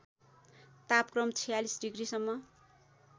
तापक्रम ४६ डिग्रिसम्म